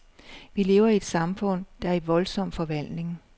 Vi lever i et samfund, der er i voldsom forvandling.